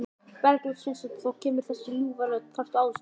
Bergljót Sveinsdóttir: Þá kemur þessi ljúfa rödd, þarftu aðstoð?